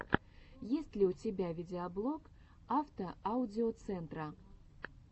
есть ли у тебя видеоблог автоаудиоцентра